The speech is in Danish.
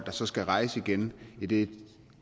og som skal rejse igen i det